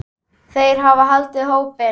Þeir hafa haldið hópinn.